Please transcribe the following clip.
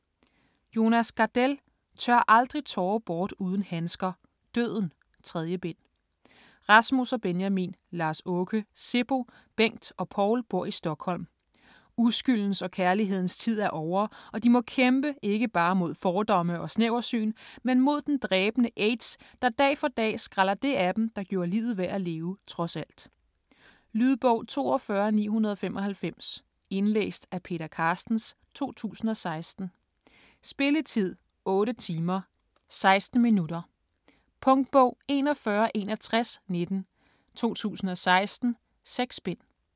Gardell, Jonas: Tør aldrig tårer bort uden handsker: Døden: 3. bind Rasmus og Benjamin, Lars-Åke, Seppo, Bengt og Paul bor i Stockholm. Uskyldens og kærlighedens tid er ovre, og de må kæmpe, ikke bare mod fordomme og snæversyn, men mod den dræbende aids, der dag for dag skræller det af dem, der gjorde livet værd at leve trods alt. Lydbog 42995 Indlæst af Peter Carstens, 2016. Spilletid: 8 timer, 16 minutter. Punktbog 416119 2016. 6 bind.